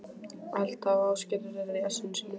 Alda og Ásgerður eru í essinu sínu.